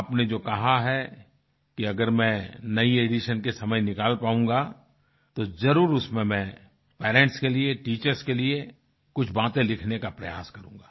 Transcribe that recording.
आपने जो कहा है कि अगर मैं नयी एडिशन के समय निकल पाऊँगा तो जरुर उसमें मैं पेरेंट्स के लिए टीचर्स के लिए कुछ बातें लिखने का प्रयास करूँगा